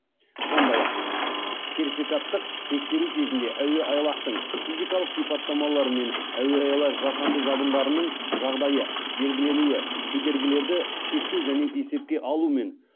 сондай ақ сертификаттық тексеру кезінде әуеайлақтың физикалық сипаттамалары мен әуеайлақ жасанды жабындарының жағдайы белгіленуі кедергілерді шектеу және есепке алу мен